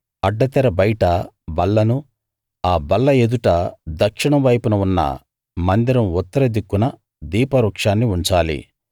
అడ్డతెర బయట బల్లను ఆ బల్ల ఎదుట దక్షిణం వైపున ఉన్న మందిరం ఉత్తర దిక్కున దీప వృక్షాన్ని ఉంచాలి